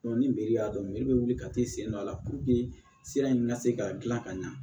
ni meri y'a dɔn bɛ wuli ka t'i sen don a la puruke sira in ka se ka dilan ka ɲɛ